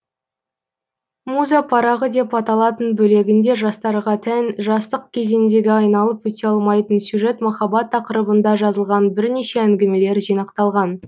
муза парағы деп аталатын бөлегінде жастарға тән жастық кезеңдегі айналып өте алмайтын сюжет махаббат тақырыбында жазылған бірнеше әңгімелер жинақталған